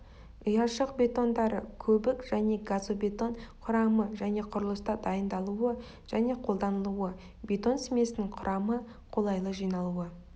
ұяшық бетондары көбік және газобетон құрамы және құрылыста дайындалуы және қолданылуы бетон смесінің құрамы қолайлы жиналуы